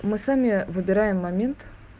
мы сами выбираем момент